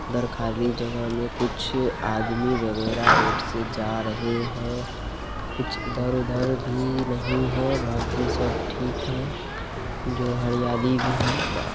उधर खाली जगह में कुछ आदमी वगेरह रोड से जा रहे है कुछ उधर भी यही है बाकी सब ठीक है जो हरियाली भी है।